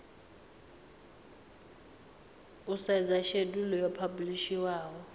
u sedza shedulu yo phabulishiwaho